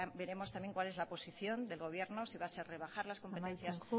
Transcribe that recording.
veremos también cuál es la posición del gobierno si va a ser de bajar las competencias